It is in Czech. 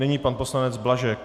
Nyní pan poslanec Blažek.